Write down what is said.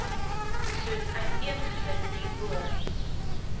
soos uiteengesit hierbo